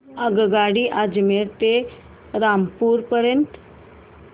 आगगाडी अजमेर ते रामपूर पर्यंत